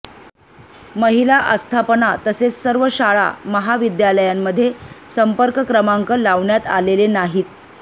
महिला आस्थापना तसेच सर्व शाळा महाविद्यालयांमध्ये संपर्क क्रमांक लावण्यात आलेले नाहीत